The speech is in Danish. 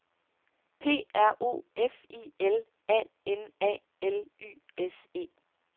P R O F I L A N A L Y S E